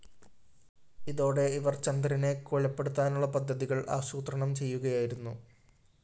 ഇതോടെ ഇവര്‍ ചന്ദ്രനെ കൊലപ്പെടുത്താനുള്ള പദ്ധതികള്‍ ആസൂത്രണം ചെയ്യുകയായിരുന്നു